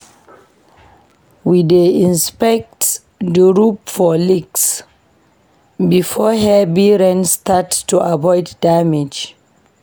We dey inspect the roof for leaks before heavy rain start to avoid damage.